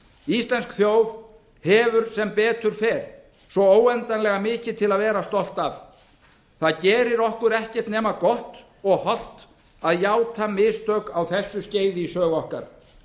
íslensk þjóð hefur sem betur fer svo óendanlega mikið til að vera stolt af það gerir okkur ekkert nema gott og hollt að játa mistök á þessu skeiði í sögu okkar